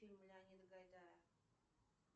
фильмы леонида гайдая